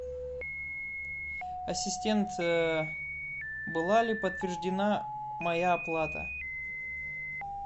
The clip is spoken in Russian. ассистент была ли подтверждена моя оплата